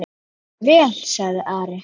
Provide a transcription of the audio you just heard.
Það er vel, sagði Ari.